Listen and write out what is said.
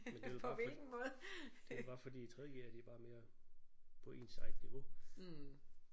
Men det er vel bare for det er bare fordi tredje g'ere de er bare mere på ens eget niveau